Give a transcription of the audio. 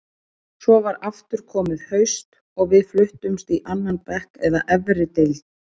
Svo var aftur komið haust og við fluttumst í annan bekk eða efri deild.